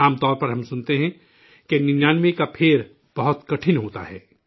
عام طور پر ہم سنتے ہیں کہ ننیانوے 99ویں کا پھیر بہت کٹھن ہوتا ہے